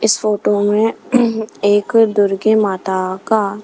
इस फोटो में एक दुर्गे माता का--